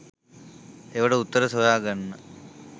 ඒවට උත්තර හොයාගන්න